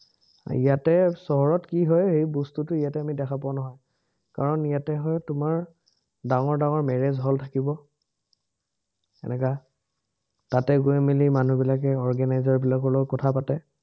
ইয়াতে চহৰত কি হয়, সেই বস্তুটো আমি ইয়াতে দেখা পোৱা নহয়। কাৰণ ইয়াতে হয়, তোমাৰ ডাঙৰ ডাঙৰ marriage hall থাকিব এনেকা, তাতে গৈ মেলি মানুহবিলাকে organizer বিলাকৰ লগত কথা পাতে